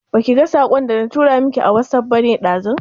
Baki ga saƙon da na tura miki a wasuf bane ɗazu?